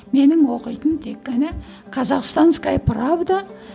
менің оқитын тек қана казахстанская правда